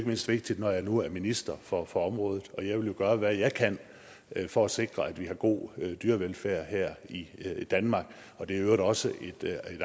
mindst vigtigt når jeg nu er minister for for området og jeg vil jo gøre hvad jeg kan for at sikre at vi har en god dyrevelfærd her i danmark og det er i øvrigt også et